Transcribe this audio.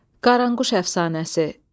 Qaranquş əfsanəsi.